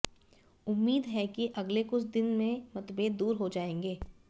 उम्मीद है कि अगले कुछ दिन में मतभेद दूर हो जाएंगे